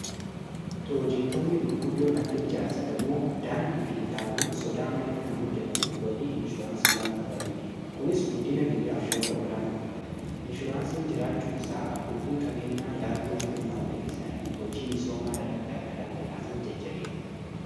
piroojektoonni gurguddoon akka ijaarsa gamoo daandii fi hidhaawwan sodaa malee kan hojjetaman wobii inshuraansii waan qabaniif kunis guddina biyyaaf shoora olaanaa qabate inshuraansiin jiraachuu isaa abbootin qabeenyaa yaaddoo malee maallaqe isaanii hojii misoomaa irratti akka dhangalaasan jajjabeessa